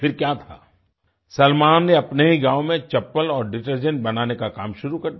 फिर क्या था सलमान ने अपने ही गाँव में चप्पल और डिटर्जेंट बनाने का काम शुरू कर दिया